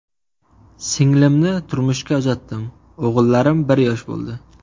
Singlimni turmushga uzatdim, o‘g‘illarim bir yosh bo‘ldi.